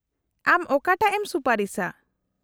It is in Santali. -ᱟᱢ ᱚᱠᱟᱴᱟᱜ ᱮᱢ ᱥᱩᱯᱟᱨᱤᱥᱟ ?